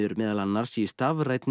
meðal annars í stafrænni